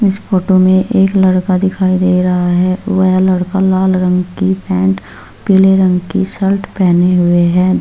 इस फोटो मे एक लड़का दिखाई दे रहा है वह लड़का लाल रंग की पेंट पीले रंग की शर्ट पहने हुए हुई ।